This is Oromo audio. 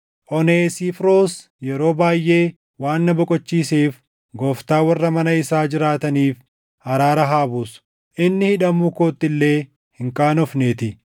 Oneesifooros yeroo baayʼee waan na boqochiiseef Gooftaan warra mana isaa jiraataniif araara haa buusu; inni hidhamuu kootti illee hin qaanofneetii.